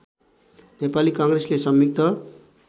नेपाली काङ्ग्रेसले संयुक्त